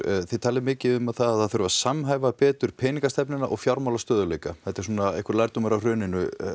þið talið mikið um að það þurfi að samhæfa betur peningastefnuna og fjármálastöðugleika þetta er einhver lærdómur af hruninu